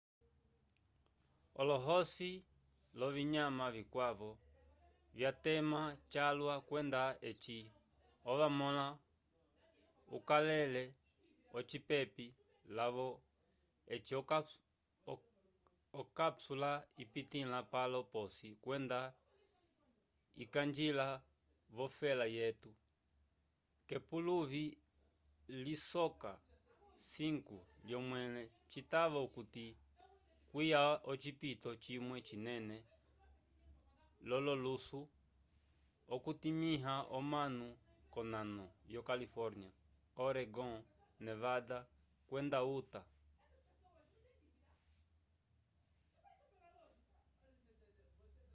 olohosi l'ovinyama vikwavo vyatema calwa kwenda eci ovamõla ukakale ocipepi lavo eci okapsula ipitĩla palo p'osi kwenda ikañgila v'ofela yetu k'epuluvi lisoka 5 lyomẽle citava okuti kwiya ocipito cimwe cinene l'ololusu okutimĩha omanu k'onano yo califórnia oregon nevada kwenda utah